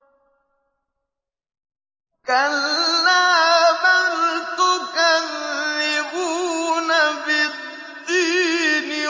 كَلَّا بَلْ تُكَذِّبُونَ بِالدِّينِ